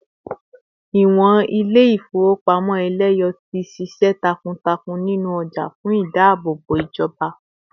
ìwọn ilé ifowopamọ eleyo ti sise takuntakun ninu oja fún ìdáàbòbò ijoba